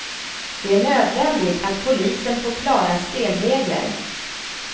Det är nödvändigt att polisen får klara spelregler.